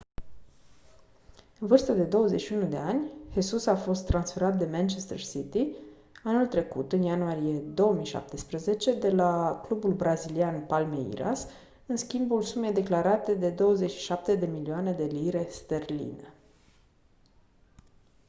în vârstă de 21 de ani jesus a fost transferat de manchester city anul trecut în ianuarie 2017 de la clubul brazilian palmeiras în schimbul sumei declarate de 27 de milioane de lire sterline